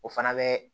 O fana bɛ